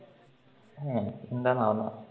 A എന്താണോ ആവണെ